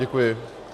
Děkuji.